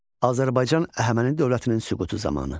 Azərbaycan Əhəməni dövlətinin süqutu zamanı.